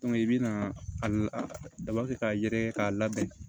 i bɛna a daba kɛ k'a yɛrɛkɛ k'a labɛn